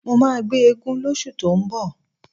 Mó máa gbé eégún lóṣù tó ń bọ̀.